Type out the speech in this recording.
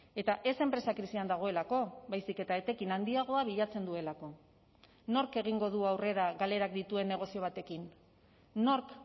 eta ez enpresa krisian dagoelako baizik eta etekin handiagoa bilatzen duelako nork egingo du aurrera galerak dituen negozio batekin nork